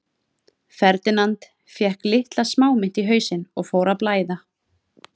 Ferdinand fékk litla smámynt í hausinn og fór að blæða.